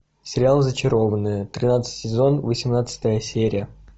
сериал зачарованные тринадцатый сезон восемнадцатая серия